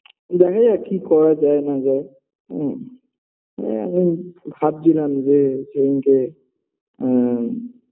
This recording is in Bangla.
দেখা যাক কি করা যায় না যায় হুম আ এখন ভাবছিলাম যে সেদিনকে আ